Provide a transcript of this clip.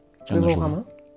тойлауға ма